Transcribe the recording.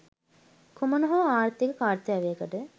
කුමන හෝ ආර්ථික කර්තව්‍යකට